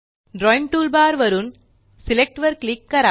drawing toolbar वरून select वर click करा